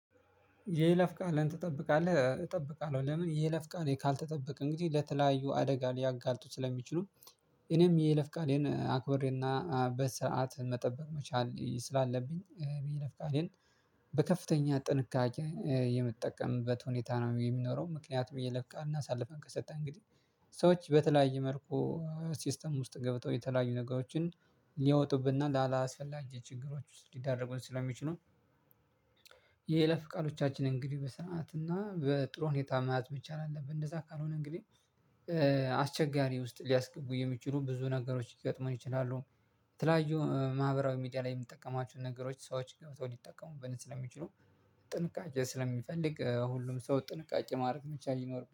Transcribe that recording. የይለፍ ቃልን ትጠብቃለህ እጠብቃለሁ? ለምን የይለፍ ቃል ካልተጠበቀ እንግዲህ ለተለያዩ አደጋ ሊያጋልጡ ስለሚችሉ እኔም የለፍቃሌን አክብሬና በስርዓት መጠበቅ መቻል ስላለብኝ ለፍቃዴን በከፍተኛ ጥንቃቄ የምጠቀምበት ሁኔታ ነው የሚኖረው። ምክንያቱም የይለፍ ቃል እናሳልፈን ከሰጠን እንግዲህ ሰዎች በተለያዩ መልኩ ሲስተም ውስጥ ገብተው የተለያዩ ነገሮችን ሊወጡብና ላላስፈላጊ ችግሮች ውስጥ ሊደረጉን ስለሚችሉ። የይለፍ ቃሎቻችን እንግዲህ በሰአት እና በጥሩ ሁኔታ መያዝ ብቻ አለብን እንደዛ ካልሆነ እንግዲህ አስቸጋሪ ውስጥ ሊያስገቡ የሚችሉ ብዙ ነገሮች ሊገጥመን ይችላሉ። የተለያዩ ማህበራዊ ሚዲያ ላይ የምትጠቀማቸው ነገሮች ሰዎች ገብተው ሊጠቀሙበት ስለሚችሉ ጥንቃቄ ስለሚፈልግ ሁሉም ሰው ጥንቃቄ ማድረግ መቻል ይኖር